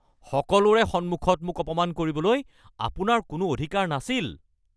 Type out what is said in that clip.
সকলোৰে সন্মুখত মোক অপমান কৰিবলৈ আপোনাৰ কোনো অধিকাৰ নাছিল।